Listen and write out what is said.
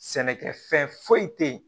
Sɛnɛkɛfɛn foyi te yen